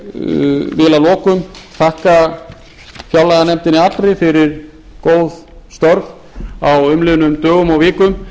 ég vil að lokum þakka fjárlaganefndinni allri fyrir góð störf á umliðnum dögum og vikum